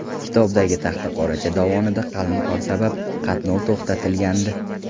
Kitobdagi Taxtaqoracha dovonida qalin qor sabab qatnov to‘xtatilgandi.